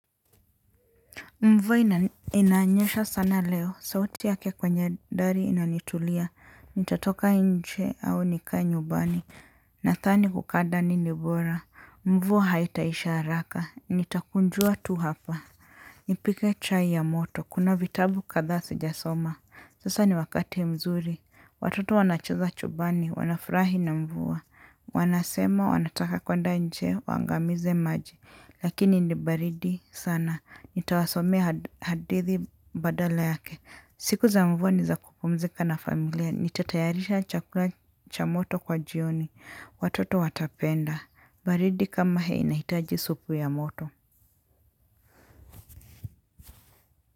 Mvua inanyesha sana leo, sauti yake kwenye dari inanitulia, nitatoka nje au nikae nyubani, nadhani kukaa ndani ni bora. Mvua haitaisha haraka, nitakunjua tu hapa. Nipike chai ya moto, kuna vitabu kadha sijasoma. Sasa ni wakati mzuri, watoto wanacheza chumbani, wanafurahi na mvua. Wanasema wanataka kwenda nje, waangamize maji. Lakini ni baridi sana, nitawasomea hadithi badala yake. Siku za mvua ni za kupumzika na familia, nitatayarisha chakula cha moto kwa jioni. Watoto watapenda, baridi kama hii inahitaji supu ya moto.